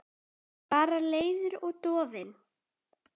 Bara leiður og dofinn.